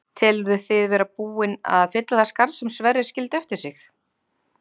Telurðu þið vera búinn að fylla það skarð sem Sverrir skildi eftir sig?